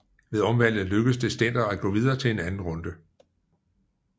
Ved omvalget lykkedes det Stender at gå videre til anden runde